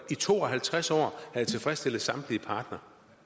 i to og halvtreds år har tilfredsstillet samtlige parter